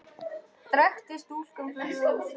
Drekkti stúlka fyrir þér sauðfé?